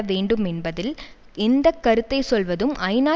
வேண்டும் என்பதில் எந்த கருத்தை சொல்வதும் ஐநா